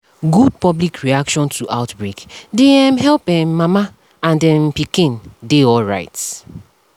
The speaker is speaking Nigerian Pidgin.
good public reaction to outbreak dey um help um make mama and um pikin dey alright